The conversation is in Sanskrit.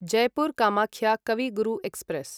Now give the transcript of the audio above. जयपुर् कामाख्य कवि गुरु एक्स्प्रेस्